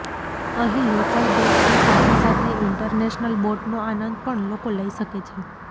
અહીં લોકલ બોટની સાથે સાથે ઇન્ટરનેશનલ બોટનો આનંદ પણ લોકો લઇ શકે છે